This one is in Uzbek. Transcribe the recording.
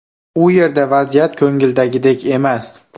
U yerda vaziyat ko‘ngildagidek emas.